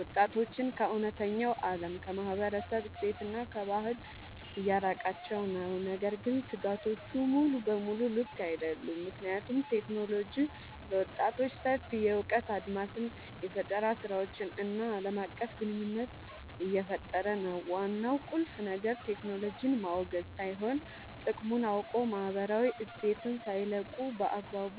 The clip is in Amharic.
ወጣቶችን ከእውነተኛው ዓለም፣ ከማህበረሰብ እሴትና ከባህል እያራቃቸው ነው። ነገር ግን ስጋቶቹ ሙሉ በሙሉ ልክ አይደሉም፤ ምክንያቱም ቴክኖሎጂ ለወጣቶች ሰፊ የእውቀት አድማስን፣ የፈጠራ ስራዎችን እና ዓለም አቀፍ ግንኙነት እየፈጠረ ነው። ዋናው ቁልፍ ነገር ቴክኖሎጂን ማውገዝ ሳይሆን፣ ጥቅሙን አውቆ ማህበራዊ እሴትን ሳይለቁ በአግባቡ